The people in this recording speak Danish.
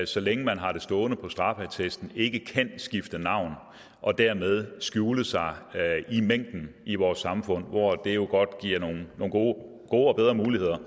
så længe man har det stående på straffeattesten ikke kan skifte navn og dermed skjule sig i mængden i vores samfund hvor det jo godt kan give nogle gode og og bedre muligheder